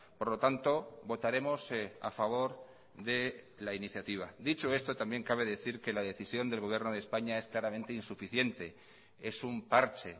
por lo tanto votaremos a favor de la iniciativa dicho esto también cabe decir que la decisión del gobierno de españa es claramente insuficiente es un parche